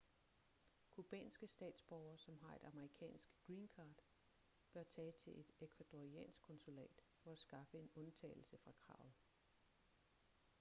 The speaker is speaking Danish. cubanske statsborgere som har et amerikansk green card bør tage til et ecuadoriansk konsulat for at skaffe en undtagelse fra kravet